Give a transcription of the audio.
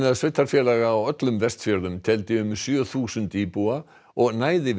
sveitarfélag á öllum Vestfjörðum teldi um sjö þúsund íbúa og næði yfir